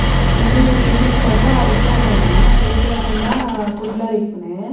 ಉಂದು ಪಿಲಿಕುಳದ ಉದ್ಯಾನವನ ಪಿಲಿಕುಳ ಪಂಡ ಕುಡ್ಲಡ್ ಇಪ್ಪುನೆ.